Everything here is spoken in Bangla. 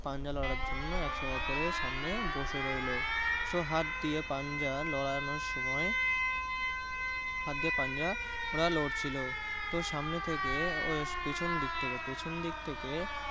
পাঞ্জা লড়ার জন্য সামনে বসে রইলো। so হাত দিয়ে পাঞ্জা লড়ানোর সময় হাত দিয়ে পান্জা ওরা লড়ছিল তো সামনে থেকে ও পেছন দিক থেকে ও পেছনদিক থেকে